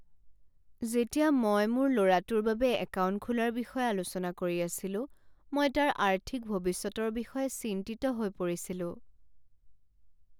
যেতিয়া মই মোৰ ল'ৰাটোৰ বাবে একাউণ্ট খোলাৰ বিষয়ে আলোচনা কৰি আছিলো, মই তাৰ আৰ্থিক ভৱিষ্যতৰ বিষয়ে চিন্তিত হৈ পৰিছিলোঁ।